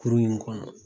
Kurun in kɔnɔ